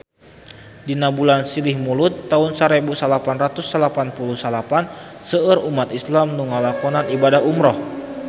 Dina bulan Silih Mulud taun sarebu salapan ratus salapan puluh salapan seueur umat islam nu ngalakonan ibadah umrah